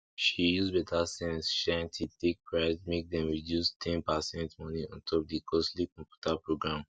she use better sense shine teeth take price make dem reduce ten pacent money ontop the costly computer program